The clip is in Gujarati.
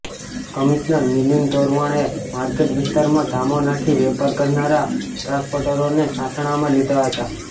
કમિશનર મિલિંદ તોરવણેએ માર્કેટ વિસ્તારમાં ધામો નાંખી વેપાર કરનારા ટ્રાન્સપોર્ટરોને સાણસામાં લીધા હતા